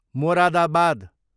Moradabad